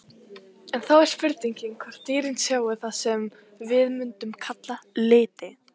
En þá er spurningin hvort dýrin sjái það sem við mundum kalla liti?